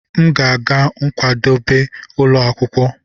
M ga-aga nkwadebe ụlọ akwụkwọ.